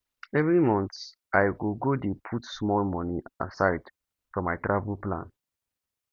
every month i go go dey put small money aside for my travel plan